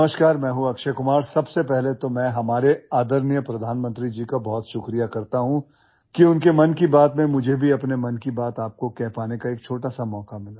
नमस्कार मैं हूं अक्षय कुमार सबसे पहले तो मैं हमारे आदरणीय प्रधानमंत्री जी का बहुत शुक्रिया करता हूं कि उनके मन की बात में मुझे भी अपने मन की बात आपको कह पाने का एक छोटा सा मौका मिला